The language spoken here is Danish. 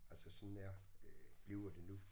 Altså sådan er øh bliver det nu